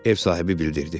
Ev sahibi bildirdi.